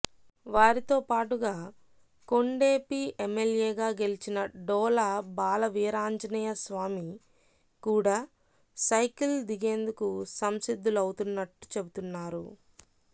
వారితోపాటుగా కొండెపి ఎమ్మెల్యేగా గెలిచిన డోలా బాలవీరాంజనేయస్వామి కూడా సైకిల్ దిగేందుకు సంసిద్ధులవుతున్నట్టు చెబుతున్నారు